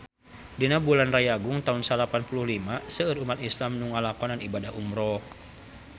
Dina bulan Rayagung taun salapan puluh lima seueur umat islam nu ngalakonan ibadah umrah